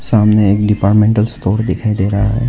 सामने दीवार मे दिखाई दे रहा है।